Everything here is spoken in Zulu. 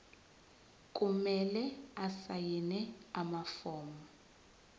kumele asayine amafomu